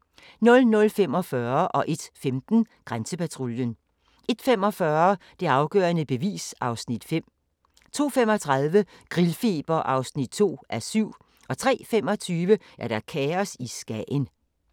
00:45: Grænsepatruljen 01:15: Grænsepatruljen 01:45: Det afgørende bevis (Afs. 5) 02:35: Grillfeber (2:7) 03:25: Kaos i Skagen